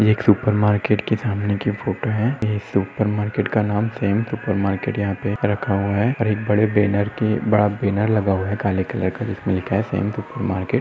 एक super market के सामनेकी फोटो है यह सुपर मार्केट का नाम शाम सुरप मार्केट यहां पे रखा हुआ है और एक बड़े बैनर की बड़ा बैनर लगा हुआ है काले कलर का जिसमे लिखा हुआ है शाम सुपर मार्केट --